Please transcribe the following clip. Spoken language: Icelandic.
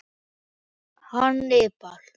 Hannibal